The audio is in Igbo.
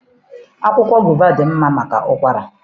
Akwụkwọ gova dị mma maka ụkwara.